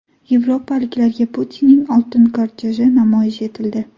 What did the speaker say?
Yevropaliklarga Putinning oltin korteji namoyish etildi .